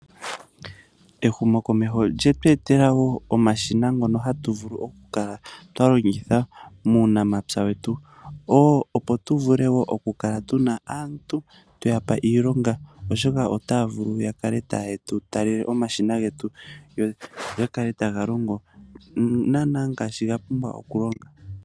Ehumokomeho olye tu etela woo omashina ngono hatu vulu oku kala twa longitha muunamapya wetu. Opo tu vule oku kala tuna aantu tweyapa iilonga, oshoka otaya vulu ya kale taye tu talele omshina getu, go gakale taga longo naana ngaashi ga pumbwa okulonga.